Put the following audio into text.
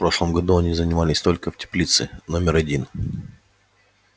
в прошлом году они занимались только в теплице номер один